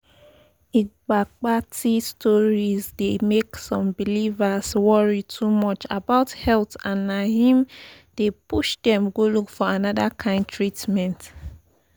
igbagbati stories dey make some believers worry too much about health and na him dey push dem go look for another kind treatment